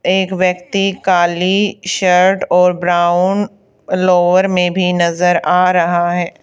एक व्यक्ति काली शर्ट और ब्राउन लोअर में भी नजर आ रहा है।